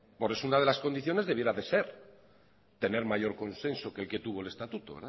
por eso es una de las condiciones debiera de ser tener mayor consenso que el que tuvo el estatuto